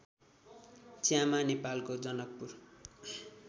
च्यामा नेपालको जनकपुर